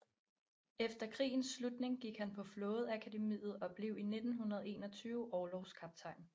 Efter krigens slutning gik han på flådeakademiet og blev i 1921 orlogskaptajn